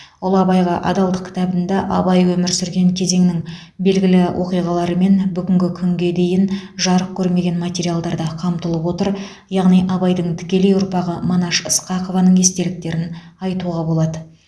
ұлы абайға адалдық кітабында абай өмір сүрген кезеңнің белгілі оқиғалары мен бүгінгі күнге дейін жарық көрмеген материалдар да қамтылып отыр яғни абайдың тікелей ұрпағы мінаш ысқақованың естеліктерін айтуға болады